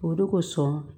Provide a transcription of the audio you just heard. O de kosɔn